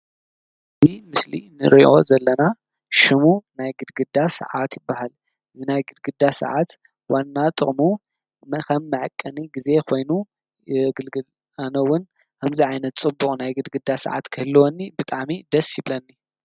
እዚ ምስሊ ንሪኦ ዘለና ሽሙ ናይ ግድግዳ ሰዓት ይብሃል፡፡ እዚ ናይ ግድግዳ ሰዓት ዋና ጥቅሙ ከም መዐቀኒ ግዜ ኾይኑ የገልግል፡፡ ኣነ እውን ከምዚ ዓይነት ፅቡቅ ናይ ግድግዳ ሰዓት ክህልወኒ ብጣዕሚ ደስ ይብለኒ፡፡